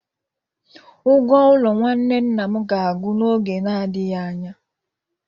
Ụgwo-ụlo nwanne nna ga-agwu n'ọge na adighị anya